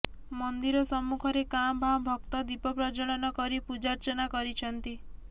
ମନ୍ଦିର ସମ୍ମୁଖରେ କାଁ ଭାଁ ଭକ୍ତ ଦୀପ ପ୍ରଜ୍ଜଳନ କରି ପୂଜାର୍ଚ୍ଚନା କରିଛନ୍ତି